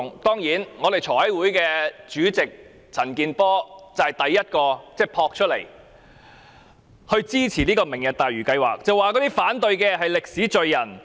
立法會財委會主席陳健波率先撲出來支持"明日大嶼"計劃，聲稱反對者將成為歷史罪人。